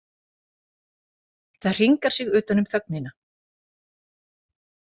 Það hringar sig utan um þögnina.